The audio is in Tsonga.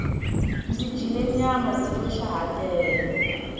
ndzi dyile nyama tiko xa ha tlele